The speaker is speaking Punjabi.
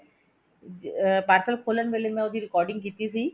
ਅਹ parcel ਖੋਲਣ ਵੇਲੇ ਮੈਂ ਉਹਦੀ recording ਕੀਤੀ ਸੀ